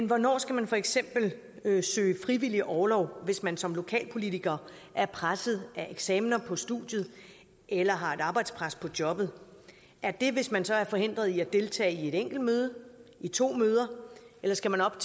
hvornår skal man for eksempel søge frivillig orlov hvis man som lokalpolitiker er presset af eksamener på studiet eller har et arbejdspres på jobbet er det hvis man så er forhindret i at deltage i et enkelt møde i to møder eller skal man op